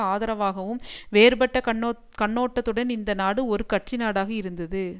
ஆதரவாகவும் வேறுபட்ட கண்ணோ கண்ணோட்டத்துடன் இந்த நாடு ஒரு கட்சி நாடாக இருந்தது